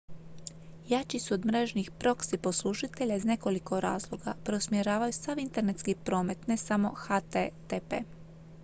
jači su od mrežnih proxy poslužitelja iz nekoliko razloga preusmjeravaju sav internetski promet ne samo http